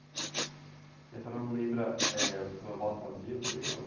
E a senhora não lembra, eh, o que as seus avós faziam também? Ou?